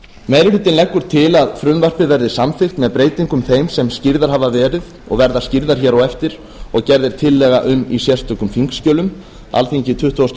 meiri hlutinn leggur til að frumvarpið verði samþykkt með breytingum þeim sem skýrðar hafa verið og verða skýrðar hér á eftir og gerð er tillaga um í sérstökum þingskjölum alþingi tuttugasta